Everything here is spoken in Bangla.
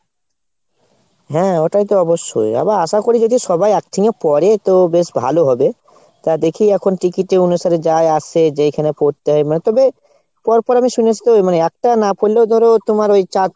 হ্যাঁ ওটাই তো অবশ্যই। এবার আশা করি যদি সবাই একসিঙে পরে তো বেশ ভালো হবে। তো দেখি এখন ticket এর অনুসারে যা আসে যেইখানে পরতে হয় মানে তবে, পরপর আমি শুনেছি তো মানে একটা না পড়লেও ধরো তোমার ওই চারটে,